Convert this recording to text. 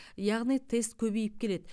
яғни тест көбейіп келеді